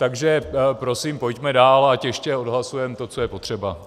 Takže prosím pojďme dál, ať ještě odhlasujeme to, co je potřeba.